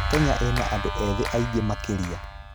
Kenya ĩna andũ ethĩ aingĩ makĩria.